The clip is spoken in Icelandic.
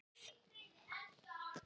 Náman er nú aflögð.